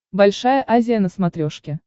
большая азия на смотрешке